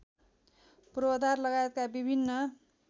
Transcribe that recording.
पूर्वाधार लगायतका विभिन्न